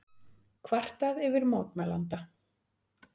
Kvartað yfir mótmælanda